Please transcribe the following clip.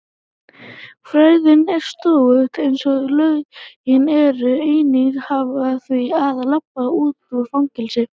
fræðin er slóttug einsog lögin og enginn hafnar því að labba út úr fangelsi.